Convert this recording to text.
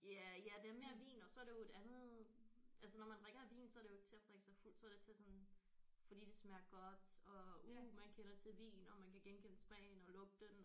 Ja ja det er mere vin og så er det jo et andet altså når man drikker en vin så er det jo ikke til at drikke sig fuld så er det til sådan fordi det smager godt og uh man kender til vin og man kan genkende smagen og lugten